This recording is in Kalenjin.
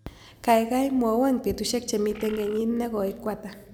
Kaigai mwawon betusiek chemiten kenyit ne goi ko ata